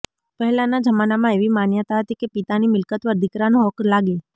પહેલા ના જમાના એવી માન્યતા હતી કે પિતા ની મિલકત પર દિકરા નો હક્ક લાગે